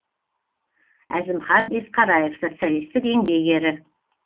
әзімхан есқараев социалистік еңбек ері